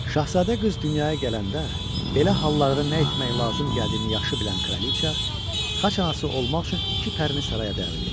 Şahzadə qız dünyaya gələndə, belə hallarda nə etmək lazım gəldiyini yaxşı bilən kraliça, xaç anası olmaq üçün iki pərini saraya dəvət etdi.